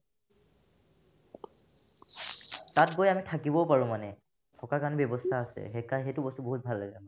তাত গৈ আমি থাকিবও পাৰো মানে থকাৰ কাৰণে ব্যৱস্থা আছে সেইকাৰ সেইকাৰণে সেইটো বস্তু বহুত ভাল লাগে